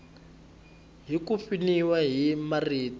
hi ku pfuniwa hi marito